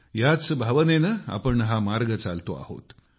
ह्याच भावनेनें आपण हा मार्ग चालतो आहोत